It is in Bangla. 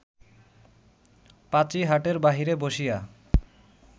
পাঁচী হাটের বাহিরে বসিয়া